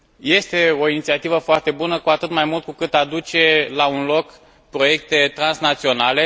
Este o inițiativă foarte bună, cu atât mai mult cu cât aduce la un loc proiecte transnaționale.